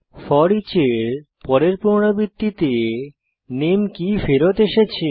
foreach এর পরের পুনরাবৃত্তিতে নামে কী ফেরত এসেছে